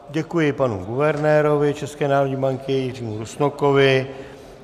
Děkuji panu guvernérovi České národní banky Jiřímu Rusnokovi.